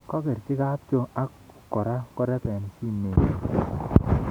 kokerji kapchoo ak kora korebe simetnyi